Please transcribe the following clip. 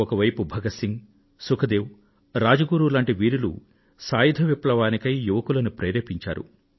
ఒకవైపు Bhagat Singh Sukhdev Rajguru ల వంటి వీరులు సాయుధ విప్లవానికై యువకులను ప్రేరేపించారు